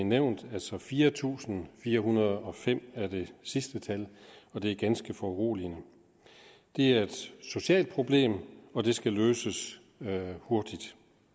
nævnt altså fire tusind fire hundrede og fem er det sidste tal og det er ganske foruroligende det er et socialt problem og det skal løses hurtigt